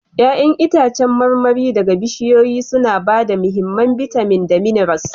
Ya'yan itãcen marmari daga bishiyoyi suna ba da mahimman bitamin da minerals